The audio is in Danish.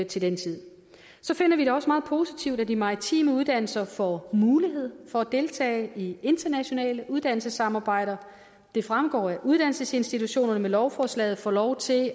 til den tid så finder vi det også meget positivt at de maritime uddannelser får mulighed for at deltage i internationale uddannelsessamarbejder det fremgår at uddannelsesinstitutionerne med lovforslaget får lov til